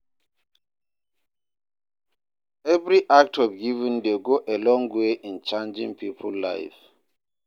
Evri act of giving dey go a long way in changin pipo life